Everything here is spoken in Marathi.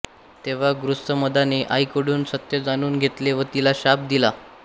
तेव्हा गृत्समदाने आईकडून सत्य जाणून घेतले व तिला शाप दिला